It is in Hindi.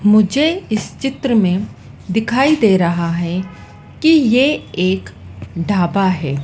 मुझे इस चित्र में दिखाई दे रहा है कि ये एक ढाबा है।